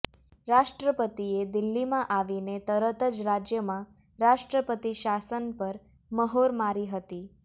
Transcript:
રાષ્ટ્રપતિએ દિલ્હીમાં આવીને તરત જ રાજ્યમાં રાષ્ટ્રપતિ શાસન પર મહોર મારી હતી